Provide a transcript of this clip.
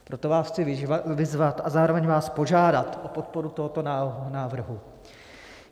Proto vás chci vyzvat a zároveň vás požádat o podporu tohoto návrhu.